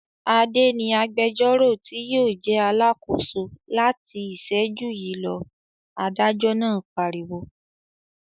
"Adé ni agbẹjọ́rò tí yóò jẹ́ alákòóso láti ìṣẹ́jú yìí lọ!" Adájọ́ náà pariwo.